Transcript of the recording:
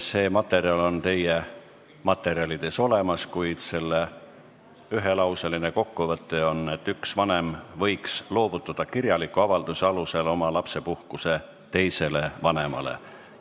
See materjal on teil olemas, kuid selle ühelauseline kokkuvõte on, et üks vanem võiks kirjaliku avalduse alusel loovutada oma lapsepuhkuse teisele vanemale.